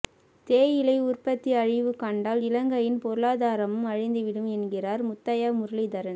தேயிலை உற்பத்தி அழிவு கண்டால் இலங்கையின் பொருளாதாரமும் அழிந்துவிடும் என்கிறார் முத்தையா முரளிதரன்